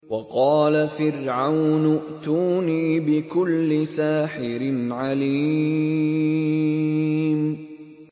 وَقَالَ فِرْعَوْنُ ائْتُونِي بِكُلِّ سَاحِرٍ عَلِيمٍ